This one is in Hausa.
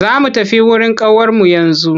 Za mu tafi wurin ƙawarmu yanzu.